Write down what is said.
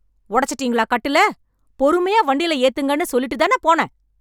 உடைச்சிட்டிங்களா கட்டில, பொறுமையா வண்டியில ஏத்துங்கன்னு சொல்லிட்டுதான போனேன்